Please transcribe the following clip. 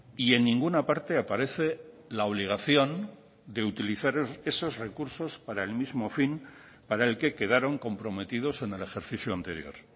y en ninguna parte aparece la obligación de utilizar esos recursos para el mismo fin para el que quedaron comprometidos en el ejercicio anterior